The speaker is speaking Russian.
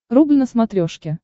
рубль на смотрешке